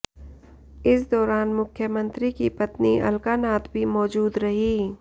इस दौरान मुख्यमंत्री की पत्नी अलका नाथ भी मौजूद रहीं